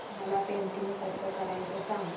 मला पेंटिंग कसं करायचं सांग